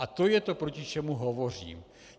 A to je to, proti čemu hovořím.